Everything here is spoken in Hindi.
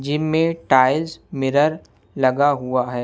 जिम में टाइल्स मिरर लगा हुआ हैं।